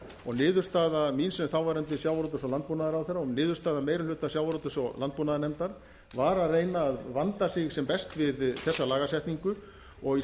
og niðurstaða mín sem þáverandi sjávarútvegs og landbúnaðarráðherra og niðurstaða meiri hluta sjávarútvegs og landbúnaðarnefndar var að reyna að vanda sig sem best við þessa lagasetningu og í